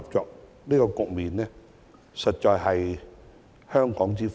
這種良性局面實在是香港之福。